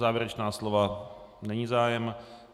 Závěrečná slova, není zájem?